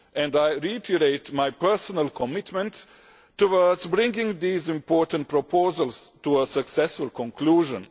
I reiterate my personal commitment towards bringing these important proposals to a successful conclusion.